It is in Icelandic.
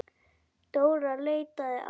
Dóra leitaði áfram.